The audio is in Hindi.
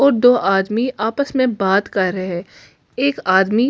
और दो आदमी आपस में बात कर रहे हैं एक आदमी--